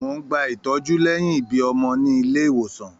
Mó n gbà ìtọjú lẹyìn ibí ọmọ nílé ìwòsàn.